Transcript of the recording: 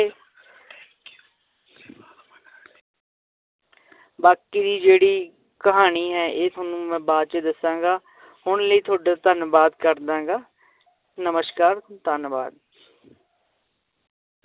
ਬਾਕੀ ਜਿਹੜੀ ਕਹਾਣੀ ਹੈ ਇਹ ਤੁਹਾਨੂੰ ਮੈਂ ਬਾਅਦ 'ਚ ਦੱਸਾਂਗਾ ਹੁਣ ਲਈ ਤੁਹਾਡਾ ਧੰਨਵਾਦ ਕਰਦਾਂ ਗਾ ਨਮਸ਼ਕਾਰ ਧੰਨਵਾਦ।